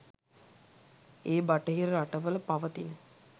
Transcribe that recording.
ඒ බටහිර රටවල පවතින